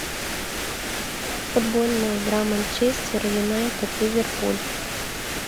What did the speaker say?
футбольная игра манчестер юнайтед ливерпуль